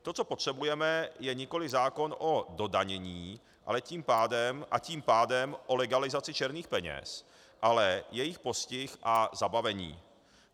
To, co potřebujeme, je nikoli zákon o dodanění, a tím pádem o legalizaci černých peněz, ale jejich postih a zabavení.